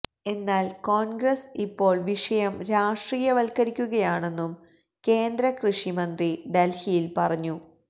എന്നാല് കോണ്ഗ്രസ് ഇപ്പോള് വിഷയം രാഷ്ട്രീയവല്ക്കരിക്കുകയാണെന്നും കേന്ദ്ര കൃഷിമന്ത്രി ഡല്ഹിയില് പറഞ്ഞു